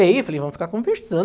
Eu falei, vamos ficar conversando.